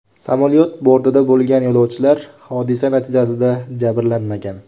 Samolyot bortida bo‘lgan yo‘lovchilar hodisa natijasida jabrlanmagan.